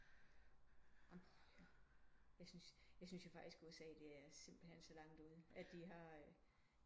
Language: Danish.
Jeg syntes jeg syntes jo faktisk at USA det er simpelthen så langt ude at de har